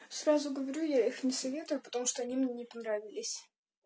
сразу говорю я их не советую потому что они мне не понравились